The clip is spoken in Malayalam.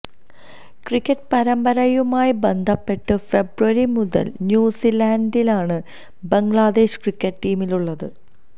ക്രിക്കറ്റ് പരമ്പരയുമായി ബന്ധപ്പെട്ട് ഫെബ്രുവരി മുതല് ന്യൂസിലന്ഡിലാണ് ബംഗ്ലാദേശ് ക്രിക്കറ്റ് ടീമുള്ളത്